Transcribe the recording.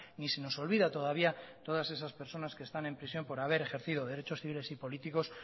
ni se nos olvida todavía todas esas personas que están en prisión por haber ejercido derechos civiles y políticos